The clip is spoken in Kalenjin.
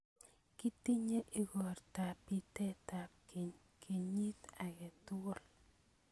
Kitinye igortab pitetab keny kenyiit age tugul.